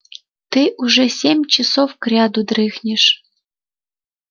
ты уже семь часов кряду дрыхнешь